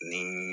Ni